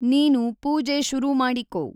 ನೀನು ಪೂಜೆ ಶುರು ಮಾಡಿಕೊ.